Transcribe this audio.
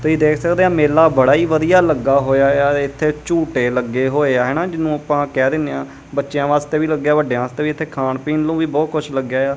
ਤੁਸੀਂ ਦੇਖ ਸਕਦੇ ਆ ਮੇਲਾ ਬੜਾ ਹੀ ਵਧੀਆ ਲੱਗਾ ਹੋਇਆ ਆ ਇੱਥੇ ਝੂਟੇ ਲੱਗੇ ਹੋਏ ਆ ਹਨਾ ਜਿਹਨੂੰ ਆਪਾਂ ਕਹਿ ਦਿੰਨੇ ਆ ਬੱਚਿਆਂ ਵਾਸਤੇ ਵੀ ਲੱਗਿਆ ਵੱਡਿਆਂ ਵਾਸਤੇ ਵੀ ਇੱਥੇ ਖਾਣ ਪੀਣ ਨੂੰ ਵੀ ਬਹੁਤ ਕੁਝ ਲੱਗਿਆ ਆ।